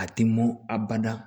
A tɛ mɔn a bada